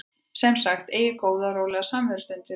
Sem sagt: Eigið góða og rólega samverustund fyrir svefninn.